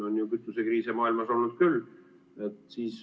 On ju kütusekriise maailmas olnud küll.